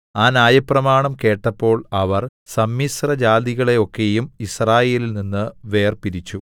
ആ ന്യായപ്രമാണം കേട്ടപ്പോൾ അവർ സമ്മിശ്രജാതികളെ ഒക്കെയും യിസ്രായേലിൽനിന്ന് വേർപിരിച്ചു